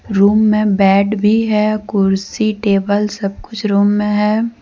Room में bed भी है कुर्सी टेबल सब कुछ रूम में है।